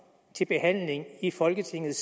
til behandling i folketinget